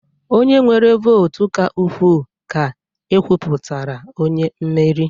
Onye nwere votu ka ukwuu, ka ekwuputara onye mmeri